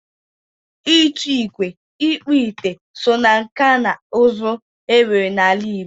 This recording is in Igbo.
Ịtụ ikwe, Ikpu ite so na nkà na uzu e nwere na ala Igbo